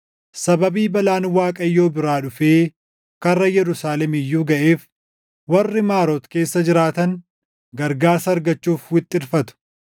Sababii balaan Waaqayyo biraa dhufee karra Yerusaalem iyyuu gaʼeef, warri Maaroot keessa jiraatan gargaarsa argachuuf wixxirfatu.